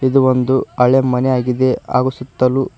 ಒಂದು ಹಳೆ ಮನೆ ಆಗಿದೆ ಹಾಗು ಸುತ್ತಲೂ--